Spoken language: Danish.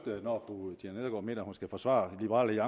når mener at hun skal forsvare liberal